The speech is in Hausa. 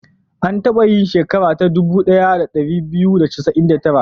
An taba yin sheka ta dubu ɗaya da ɗari biyu da casa'in da tara.